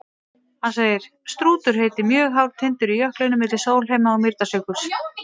Hann segir: Strútur heitir mjög hár tindur í jöklinum milli Sólheima- og Mýrdalsjökuls.